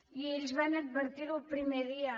i ells van advertir ho el primer dia